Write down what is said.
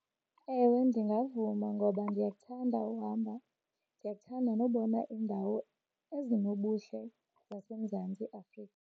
Ewe, ndingavuma ngoba ndiyakuthanda uhamba, ndiyakuthanda nobona iindawo ezinobuhle zaseMzantsi Afrika.